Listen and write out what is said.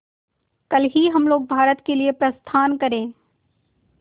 कल ही हम लोग भारत के लिए प्रस्थान करें